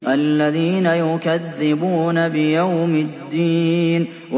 الَّذِينَ يُكَذِّبُونَ بِيَوْمِ الدِّينِ